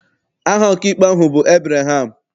Aha ọkaikpe ahụ bụ Ebreham.